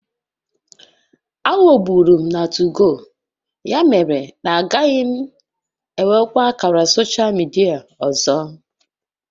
Aghọgburu m na 2go, ya mere na agaghị m enwekwa ákàrà soshal midia ọzọ